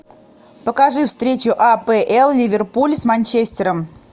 покажи встречу апл ливерпуль с манчестером